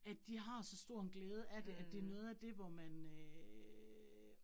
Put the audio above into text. At de har så stor en glæde af det, at det noget af det, hvor man øh